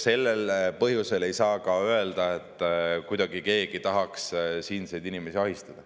Seetõttu ei saa ka öelda, nagu keegi tahaks siinseid inimesi kuidagi ahistada.